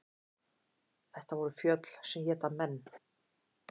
Þetta voru fjöll sem éta menn.